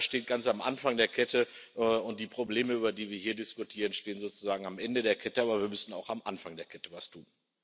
Das steht ganz am Anfang der Kette, und die Probleme, über die wir hier diskutieren, stehen sozusagen am Ende der Kette, aber wir müssen auch am Anfang der Kette etwas tun.